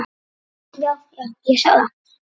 Já, já, ég sá það.